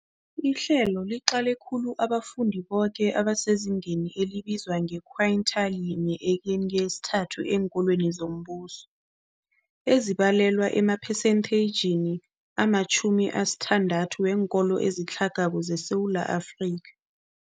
Ihlelo liqale khulu abafundi boke abasezingeni elibizwa nge-quintile 1-3 eenkolweni zombuso, ezibalelwa emaphesentageni ama-60 weenkolo ezitlhagako zeSewula Afrika.